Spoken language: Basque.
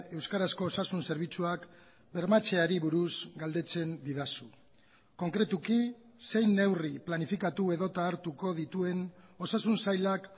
euskarazko osasun zerbitzuak bermatzeari buruz galdetzen didazu konkretuki zein neurri planifikatu edota hartuko dituen osasun sailak